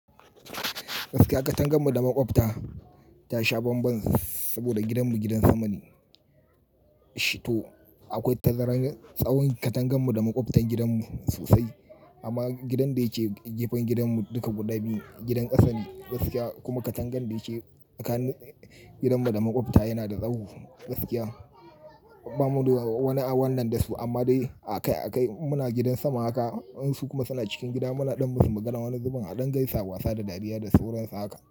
Gaskiya katanganmu da maƙwabta, ta sha banban saboda gidanmu gidan sama ne. Akwai tazarar tsawon katangenmu da maƙwabtarn gidanmu sosai. Amma gidan da yake gefen gidanmu duka guda biyu, gidan ƙasa ne gaskiya kuma katangan da yake tsakanin gidanmu da maƙwabtan mu yana da tsaho gaskiya. Ba mu wani wannan da su amma dai akai-akai muna gidan sama haka in su kuma suna cikin gida muna ɗan masu maganan wani zubin a gaisawa, wasa da dariya da sauransu haka.